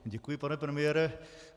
Děkuji, pane premiére.